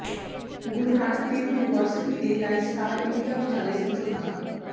ਗੁਰੂ Nanak Dev university ਤੇ DyStar India ਵਿਚਾਲੇ ਸਮਝੌਤਾ